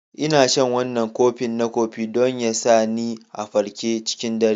Ina shan wannan kofi na kofi don ya sa ni a farke cikin dare.